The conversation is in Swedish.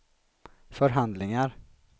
förhandlingar